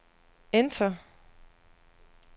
enter